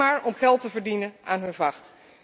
Alleen maar om geld te verdienen aan hun vacht.